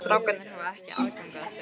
Strákarnir hafa ekki aðgang að þeim?